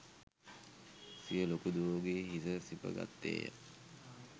සිය ලොකු දුවගේ හිස සිප ගත්තේය